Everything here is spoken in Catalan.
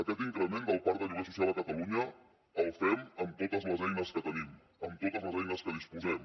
aquest increment del parc de lloguer social a catalunya el fem amb totes les eines que tenim amb totes les eines que disposem